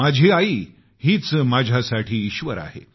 माझी आई हीच माझ्यासाठी ईश्वर आहे